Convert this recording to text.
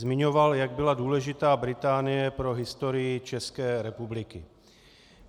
Zmiňoval, jak byla důležitá Británie pro historii České republiky.